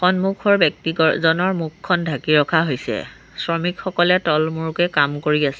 সন্মুখৰ ব্যক্তিকৰ জনৰ মুখখন ঢাকি ৰখা হৈছে শ্ৰমিকসকলে তলমূৰকে কাম কৰি আছে।